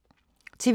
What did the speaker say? TV 2